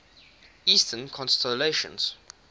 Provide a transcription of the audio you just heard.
eastern constellations